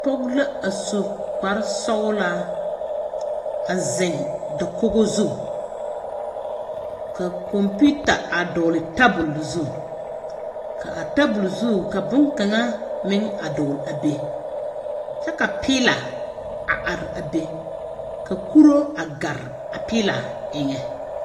Pͻge la a su kpare sͻgelaa. A zeŋe dakogi zu. Ka kͻmpiita a dͻgele tabole zu, ka a tabole zu ka boŋkaŋa meŋ a dͻgele a be, kyԑ ka piila a are a be, ka kuro a gare a piila eŋԑ.